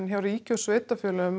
hjá ríki og sveitarfélögum